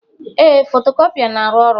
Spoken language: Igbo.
Ee, fotocopier na-arụ ọrụ.